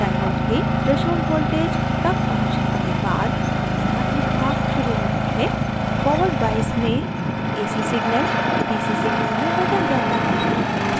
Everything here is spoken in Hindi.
diode के threshold voltage तक पहुँचने के बाद धनात्मक भाग शुरू होता है forward bias में ac signal dc signal में बदल जाता है